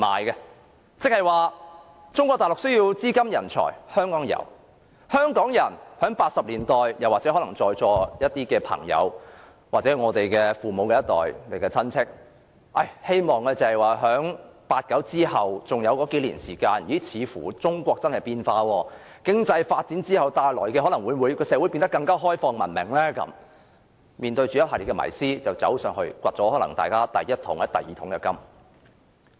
換句話說，香港提供了中國大陸需要的資金和人才，而在1980年代，在座一些朋友或我們父母那一代，在1989年後以為中國真的在變化，抱着經濟發展可能會令社會變得更開放文明的迷思，便北上發掘了第一桶、第二桶金。